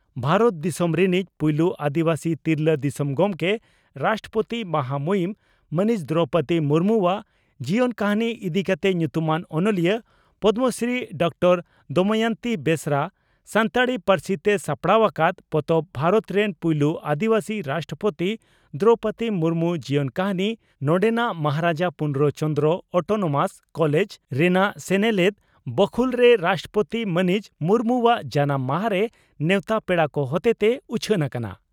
ᱵᱷᱟᱨᱚᱛ ᱫᱤᱥᱚᱢ ᱨᱤᱱᱤᱡ ᱯᱩᱭᱞᱩ ᱟᱹᱫᱤᱵᱟᱹᱥᱤ ᱛᱤᱨᱞᱟᱹ ᱫᱤᱥᱚᱢ ᱜᱚᱢᱠᱮ (ᱨᱟᱥᱴᱨᱚᱯᱳᱛᱤ) ᱢᱟᱦᱟᱢᱩᱦᱤᱱ ᱢᱟᱹᱱᱤᱡ ᱫᱨᱚᱣᱯᱚᱫᱤ ᱢᱩᱨᱢᱩᱣᱟᱜ ᱡᱤᱭᱚᱱ ᱠᱟᱹᱦᱱᱤ ᱤᱫᱤ ᱠᱟᱛᱮ ᱧᱩᱛᱩᱢᱟᱱ ᱚᱱᱚᱞᱤᱭᱟᱹ ᱯᱚᱫᱽᱢᱚᱥᱨᱤ ᱰᱨᱹ ᱫᱚᱢᱚᱭᱚᱱᱛᱤ ᱵᱮᱥᱨᱟ ᱥᱟᱱᱛᱟᱲᱤ ᱯᱟᱹᱨᱥᱤᱛᱮ ᱥᱟᱯᱲᱟᱣ ᱟᱠᱟᱫ ᱯᱚᱛᱚᱵ "ᱵᱷᱟᱨᱚᱛ ᱨᱮᱱ ᱯᱩᱭᱞᱩ ᱟᱹᱫᱤᱵᱟᱹᱥᱤ ᱨᱟᱥᱴᱨᱚᱯᱳᱛᱤ ᱫᱨᱚᱣᱯᱚᱫᱤ ᱢᱩᱨᱢᱩ (ᱡᱤᱭᱚᱱ ᱠᱟᱹᱦᱱᱤ) ᱱᱚᱰᱮᱱᱟᱜ ᱢᱚᱦᱟᱨᱟᱡᱟ ᱯᱩᱨᱱᱚ ᱪᱚᱱᱫᱽᱨᱚ (ᱚᱴᱚᱱᱚᱢᱟᱥ) ᱠᱚᱞᱮᱡᱽ ᱨᱮᱱᱟᱜ ᱥᱮᱱᱮᱞᱮᱫ ᱵᱟᱹᱠᱷᱩᱞᱨᱮ ᱨᱟᱥᱴᱨᱚᱯᱳᱛᱤ ᱢᱟᱹᱱᱤᱡ ᱢᱩᱨᱢᱩᱣᱟᱜ ᱡᱟᱱᱟᱢ ᱢᱟᱦᱟᱨᱮ ᱱᱮᱣᱛᱟ ᱯᱮᱲᱟ ᱠᱚ ᱦᱚᱛᱮᱛᱮ ᱩᱪᱷᱟᱹᱱ ᱟᱠᱟᱱᱟ ᱾